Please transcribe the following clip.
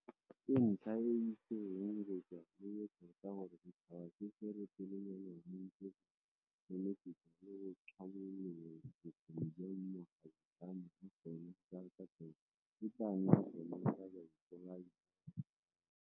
Ke ntlha e e itsegeng go tswa lowe tota gore setšhaba se se retelelwang ke go neneketsa le go tlhabolola bokgoni jwa makgabutlane a sona ka katlego e tla nna sona sa baipolai ba ba sa lelelweng.